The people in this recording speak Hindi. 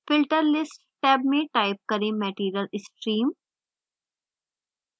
filter list टैब में type करें material stream